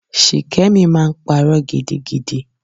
Shikemi máa ń parọ́ gidigidi.